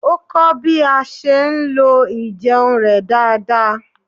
Ó kọ́ bí a ṣe ń lo ijeun rẹ̀ dáadáa